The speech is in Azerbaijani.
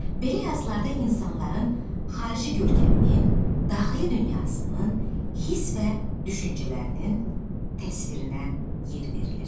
Belə yazılarda insanların xarici görkəminin, daxili dünyasının, hiss və düşüncələrinin təsvirinə yer verilir.